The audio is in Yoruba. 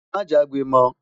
má jagbe mọ